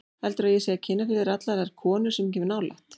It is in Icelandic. Heldurðu að ég sé að kynna fyrir þér allar þær konur sem ég kem nálægt?